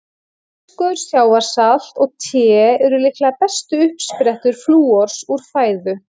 Fiskur, sjávarsalt og te eru líklega bestu uppsprettur flúors úr fæðu.